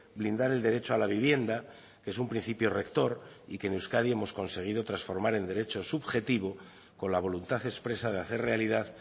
blindar el derecho a la vivienda que es un principio rector y que en euskadi hemos conseguido transformar en derecho subjetivo con la voluntad expresa de hacer realidad